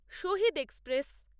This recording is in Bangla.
শাহীদ এক্সপ্রেস